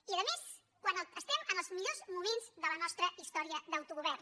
i a més quan estem en els millors moments de la nostra història d’autogovern